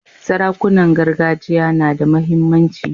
Sarakunan gargajiya na da muhimmanci.